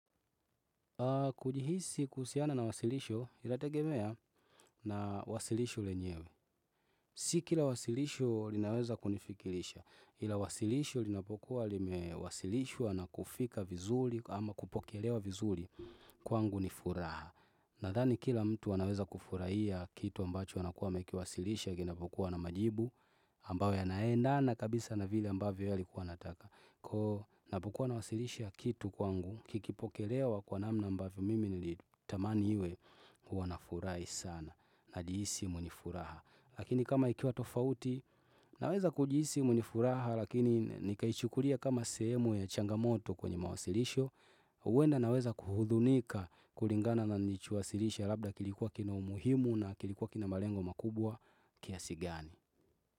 Kujihisi kuhusiana na wasilisho inategemea na wasilisho lenyewe Sikila wasilisho linaweza kunifikirisha ila wasilisho lina pokuwa lime wasilishwa na kufika vizuri ama kupokelewa vizuri kwangu nifuraha Nadhani kila mtu anaweza kufurahia kitu ambacho anakuwa amekiwasilisha kina pokuwa na majibu ambayo ya naenda na kabisa na vile ambavyo yeye alikuwa anataka napokuwa na wasilisha kitu kwangu kikipokelewa kwa namna ambavyo mimi nilitamani iwe huwanafurahi sana na jihisi mwenye furaha Lakini kama ikiwa tofauti naweza kujihisi mwenye furaha lakini nikaichukulia kama sehemu ya changamoto kwenye mawasilisho huenda naweza kuhudhunika kulingana na niliicho wasilisha labda kilikuwa kina umuhimu na kilikuwa kina malengo makubwa kiasigani.